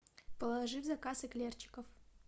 положи в заказ эклерчиков